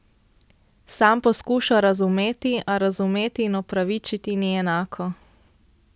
Sam poskuša razumeti, a razumeti in opravičiti ni enako.